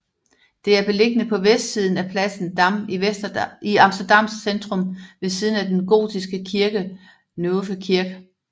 Det er beliggende på vestsiden af pladsen Dam i Amsterdams centrum ved siden af den gotiske kirke Nieuwe Kerk